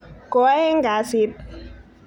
Ko aeng' kasit.